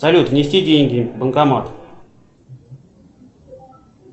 салют внести деньги в банкомат